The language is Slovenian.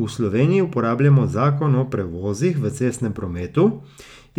V Sloveniji uporabljamo zakon o prevozih v cestnem prometu,